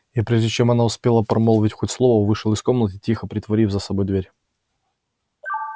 и прежде чем она успела промолвить хоть слово вышел из комнаты тихо притворив за собой дверь